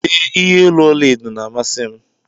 Ee, iye olu ọla edo na-amasị m.